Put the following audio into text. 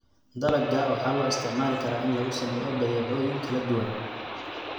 Dalagga waxaa loo isticmaali karaa in lagu sameeyo badeecooyin kala duwan.